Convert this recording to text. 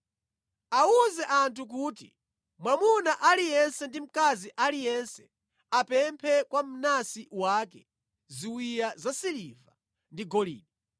Awuze anthu kuti mwamuna aliyense ndi mkazi aliyense apemphe kwa mnansi wake ziwiya zasiliva ndi golide.”